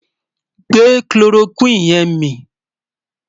gbè kiloroquine yẹ̀n mí